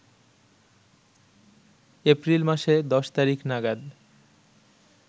April মাসে ১০ তারিখ নাগাদ